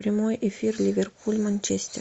прямой эфир ливерпуль манчестер